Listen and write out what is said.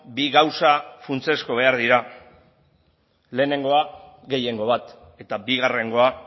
bi gauza funtsezko behar dira lehenengoa gehiengo bat eta bigarrengoa